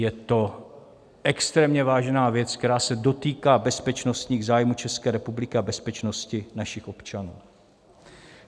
Je to extrémně vážná věc, která se dotýká bezpečnostních zájmů České republiky a bezpečnosti našich občanů.